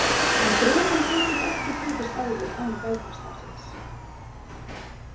En drekann geturðu ekki tekist á við án galdrastafsins.